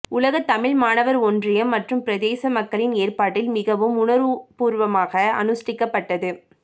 உலகத் தமிழ் மாணவர் ஒன்றியம் மற்றும் பிரதேச மக்களின் ஏற்பாட்டில் மிகவும் உணர்வுபூர்வமாக அனுஸ்ட்டிக்கப்பட்டது